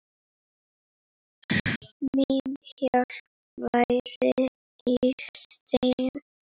Mín hjálp væri í þeim.